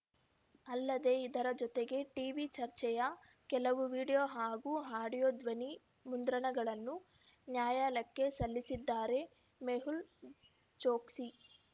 ಅಲ್ಲದೆ ಇದರ ಜೊತೆಗೆ ಟೀವಿ ಚರ್ಚೆಯ ಕೆಲವು ವಿಡಿಯೋ ಹಾಗೂ ಆಡಿಯೋ ಧ್ವನಿ ಮುದ್ರಣಗಳನ್ನು ನ್ಯಾಯಾಲಕ್ಕೆ ಸಲ್ಲಿಸಿದ್ದಾರೆ ಮೆಹುಲ್‌ ಚೋಕ್ಸಿ